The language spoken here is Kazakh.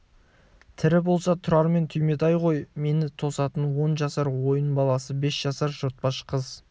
тірі болса тұрар мен түйметай ғой мені тосатын он жасар ойын баласы бес жасар жортпаш қыз